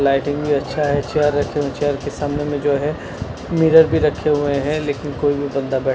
lighting भी अच्छा है चेयर रखे है चेयर के सामने में जो है मिरर भी रखे हुए हैं लेकिन कोई भी बंदा--